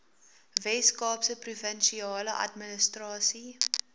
weskaapse provinsiale administrasie